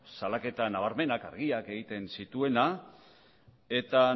salaketa nabarmenak eta argiak egiten zituena eta